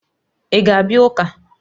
Ị ga-abịa ụka?